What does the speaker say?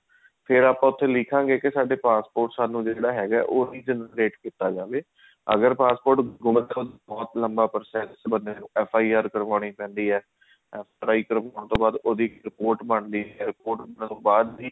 ਫ਼ੇਰ ਆਪਾਂ ਉਥੇ ਲਿਖਾਂਗੇ ਸਾਡੇ passport ਸਾਨੂੰ ਜਿਹੜਾ ਹੈਗਾ ਉਹ generate ਕੀਤਾ ਜਾਵੇ ਅਗਰ passport ਮਤਲਬ ਬਹੁਤ ਲੰਬਾ process ਹੈ FIR ਕਰਵਾਉਣੀ ਪੈਂਦੀ ਹੈ ਉਸ ਤਰ੍ਹਾਂ ਹੋਣ ਤੋਂ ਬਾਅਦ ਉਹਦੀ report ਬਣਦੀ ਹੈ ਬਾਅਦ ਦੀ